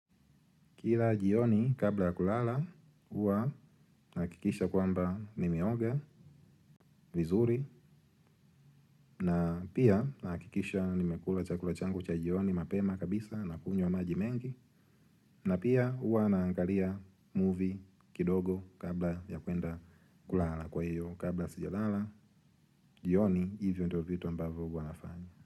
Kila jioni kabla ya kulala, huwa nahakikisha kwamba nimeiga, vizuri, na pia nahakikisha nimekula chakula changu cha jioni mapema kabisa na kunywa maji mengi, na pia huwa naangalia movie kidogo kabla ya kuenda kulala kwa hiyo kabla sijalala, jioni hivyo ndio vitu ambavyo huwa nafanya.